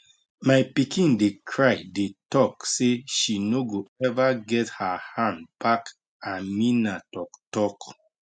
my pikin dey cry dey tok say she no go ever get her hand back ameena talk talk